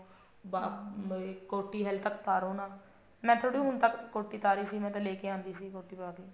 ਅਮ ਕੋਟੀ ਹਲੇ ਤੱਕ ਤਾਰੋ ਨਾ ਮੈਂ ਥੋੜੀ ਹੁਣ ਤੱਕ ਕੋਟੀ ਉਤਾਰੀ ਸੀ ਮੈਂ ਤਾਂ ਲੈਕੇ ਆਉਂਦੀ ਸੀ ਕੋਟੀ ਪਾਕੇ